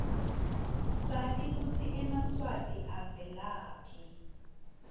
sati kutsi emaswati avelaphi